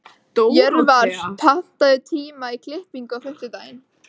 Jörvar, pantaðu tíma í klippingu á fimmtudaginn.